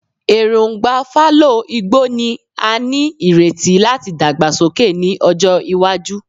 Erongba fallow igbo ni a nireti lati dagbasoke ni ọjọ iwaju